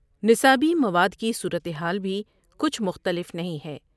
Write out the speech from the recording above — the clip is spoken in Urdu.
نصابی مواد کی صورت حال بھی کچھ مختلف نہیں ہے۔